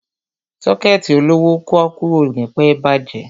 Sọ́kẹ̀tì olówó pọ́ọ́kú ò ní pẹ́ bàjẹ́.